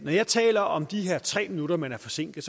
jeg taler om de her tre minutter man er forsinket